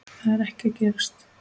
Það er ekki að gerast.